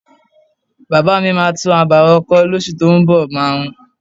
Bàbá mi máa tún abà wọn kọ́ lóṣù tó ún bọ̀.máà ń